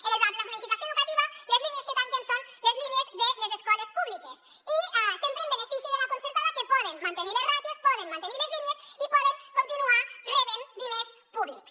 en la planificació educativa les línies que tanquen són les línies de les escoles públiques i sempre en benefici de la concertada que poden mantenir les ràtios poden mantenir les línies i poden continuar rebent diners públics